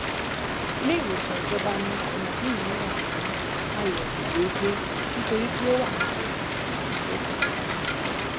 iléìwòsàn ìjọba ni àwọn òbí mi yàn fún àyèwò déédéé nítorí pé ó wà nítòsí ó sì ṣeé fọkàn tán